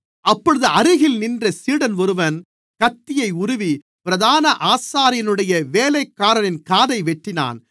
அப்பொழுது அருகில் நின்ற சீடன் ஒருவன் கத்தியை உருவி பிரதான ஆசாரியனுடைய வேலைக்காரனின் காதை வெட்டினான்